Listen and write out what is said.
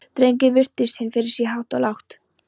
Drengurinn virti hann fyrir sér hátt og lágt.